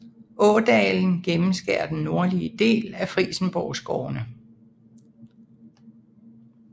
Ådalen gennemskærer den nordlige del af Frijsenborgskovene